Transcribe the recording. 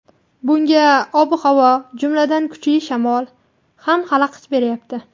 Bunga ob-havo, jumladan, kuchli shamol ham xalaqit beryapti.